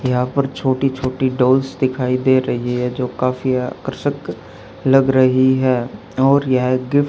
यहां पर छोटी छोटी डॉल्स दिखाई दे रही है जो काफी आकर्षक लग रही है और यह एक गिफ्ट --